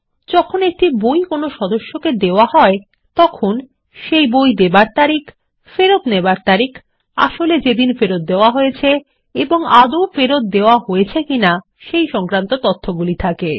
যখন একটি বই কোনো সদস্যকে দেওয়া হয় তখন সেই বই দেবার তারিখ ফেরত নেবার তারিখ আসলে যেদিন ফেরত দেওয়া হয়েছে এবং আদৌ ফেরত দেওয়া হয়েছে কিনা সেই তথ্যগুলি থাকে